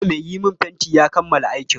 Jiya mai yi min fenti ya kammala aikin.